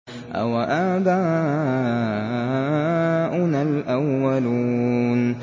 أَوَآبَاؤُنَا الْأَوَّلُونَ